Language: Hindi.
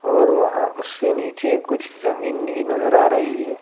और वहां उससे नीचे कुछ जमीन नि नज़र आ रही है।